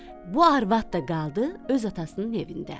Bu arvad da qaldı öz atasının evində.